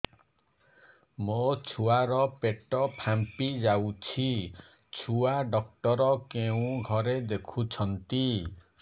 ମୋ ଛୁଆ ର ପେଟ ଫାମ୍ପି ଯାଉଛି ଛୁଆ ଡକ୍ଟର କେଉଁ ଘରେ ଦେଖୁ ଛନ୍ତି